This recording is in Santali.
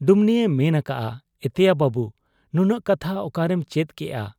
ᱰᱩᱢᱱᱤᱭ ᱢᱮᱱ ᱟᱠᱟᱜ ᱟ, 'ᱮᱛᱮᱭᱟ ᱵᱟᱹᱵᱩ ! ᱱᱩᱱᱟᱹᱜ ᱠᱟᱛᱷᱟ ᱚᱠᱟᱨᱮᱢ ᱪᱮᱫ ᱠᱮᱜ ᱟ ?